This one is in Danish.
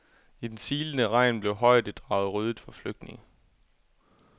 I den silende regn blev højdedraget ryddet for flygtninge.